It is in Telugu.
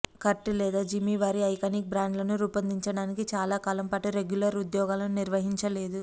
కర్ట్ లేదా జిమి వారి ఐకానిక్ బ్యాండ్లను రూపొందించడానికి చాలా కాలం పాటు రెగ్యులర్ ఉద్యోగాలను నిర్వహించలేదు